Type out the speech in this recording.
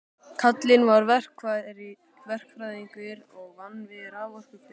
Kallinn var verkfræðingur og vann við raforkuver.